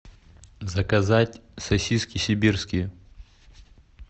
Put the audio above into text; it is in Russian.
заказать сосиски сибирские